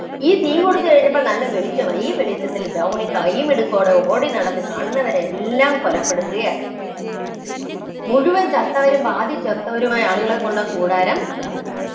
ഈ തീകൊടുത്തു കഴിഞ്ഞപ്പോള്‍ നല്ല വെളിച്ചമായി. ഈ വെളിച്ചത്തില്‍ ദ്രൗണി കൈമിടുക്കോടെ ഓടിനടന്ന് കാണുന്നവരെയെല്ലാം കൊലപ്പെടുത്തുകയാണ്. മുഴുവന്‍ ചത്തവരും, പാതി ചത്തവരുമായുള്ള ആളുകളെ കൊണ്ട് കൂടാരം നിറഞ്ഞു.